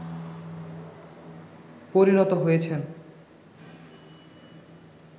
পরিণত হয়েছেন